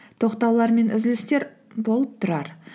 тоқтаулар мен үзілістер болып тұрар